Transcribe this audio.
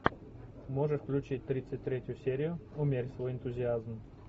можешь включить тридцать третью серию умерь свой энтузиазм